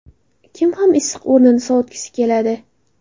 Kim ham issiq o‘rnini sovutgisi keladi?